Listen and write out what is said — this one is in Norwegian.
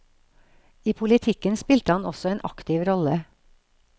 I politikken spilte han også en aktiv rolle.